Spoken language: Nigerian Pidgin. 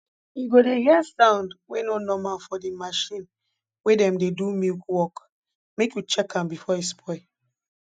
u go dey hear sound wey nor normal for de marchin wey dem dey do milk work make you check am before e spoil